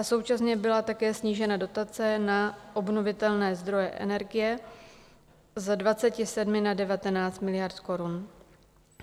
A současně byla také snížena dotace na obnovitelné zdroje energie z 27 na 19 miliard korun.